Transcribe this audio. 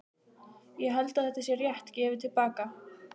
Ég held að þetta sé rétt gefið til baka.